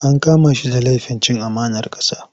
An kama shi da lafin cin amanar ƙasa.